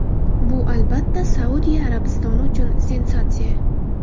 Bu, albatta, Saudiya Arabistoni uchun sensatsiya.